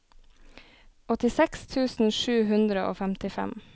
åttiseks tusen sju hundre og femtifem